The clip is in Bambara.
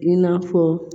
I n'a fɔ